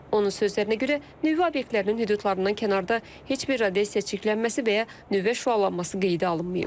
Onun sözlərinə görə, nüvə obyektlərinin hüdudlarından kənarda heç bir radiasiya çirklənməsi və ya nüvə şüalanması qeydə alınmayıb.